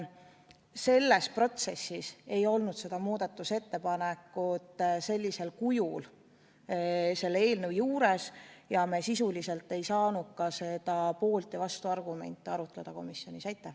Selles protsessis ei olnud kõne all seda muudatusettepanekut sellisel kujul selle eelnõu kohta ja me sisuliselt ei saanud poolt- ja vastuargumente komisjonis arutada.